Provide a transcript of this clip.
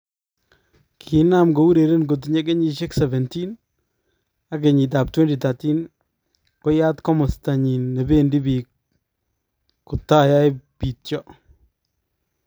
Kinaam koureren kotinye kenyisyeek 17 ak kenyitab 2013 koyaat komosta nyin nebeendii biik kotayae piityo